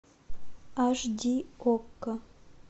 аш ди окко